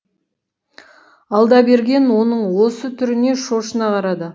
алдаберген оның осы түріне шошына қарады